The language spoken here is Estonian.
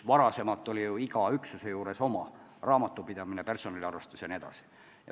Varem oli iga üksuse juures oma raamatupidamine, personaliarvestus jne.